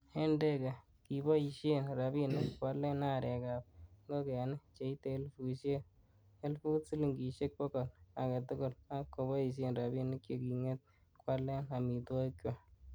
En Ndege, kiboishien rabinik koalen arek ab ingogeni cheite elifut silingisiek bogol agetugul, ak koboishen rabinik che kinget koalen amitwogikchwak.